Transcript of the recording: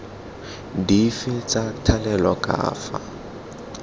dife tsa thalelo ka fa